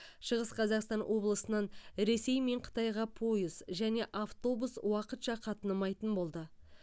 шығыс қазақстан облысынан ресей мен қытайға пойыз және автобус уақытша қатынамайтын болды